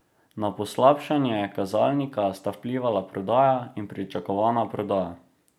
Na poslabšanje kazalnika sta vplivala prodaja in pričakovana prodaja.